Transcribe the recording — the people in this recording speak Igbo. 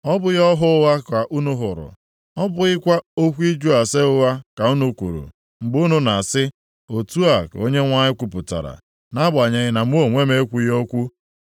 Ọ bụghị ọhụ ụgha ka unu hụrụ, ọ bụghịkwa okwu ịjụ ase ụgha ka unu kwuru, mgbe unu na-asị, “Otu a ka Onyenwe anyị kwupụtara,” nʼagbanyeghị na mụ onwe m ekwughị okwu?